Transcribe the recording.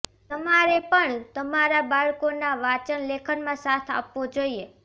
તમારે પણ તમારા બાળકોના વાંચન લેખનમાં સાથ આપવો જોઈએ